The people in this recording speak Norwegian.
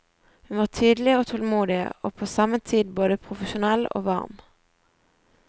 Hun var tydelig og tålmodig, og på samme tid både profesjonell og varm.